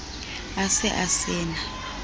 a se a se na